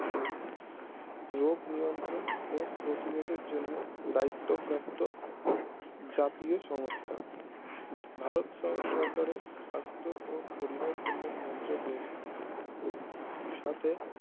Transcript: রোগ নিয়ন্ত্রণ ও প্রতিরোধের জন্য দায়িত্ব প্রাপ্ত জাতীয় সমস্থা ভারত সং সরকারের সাস্থ ও পরিবার কল্যাণ মন্ত্রকের সাথে